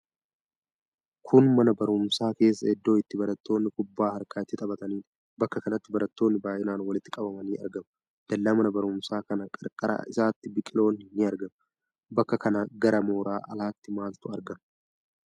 Kun mana baruumsaa keessa iddo itti barattoonni kubbaa harkaa itti taphataniidha. Bakka kanatti barattoonni baay'inaan walitti qabamanii argamu. Dallaa mana baruumsaa kana qarqara isatti biqiloonni ni argamu. Bakka kana gara mooraa alatti maaltu argama?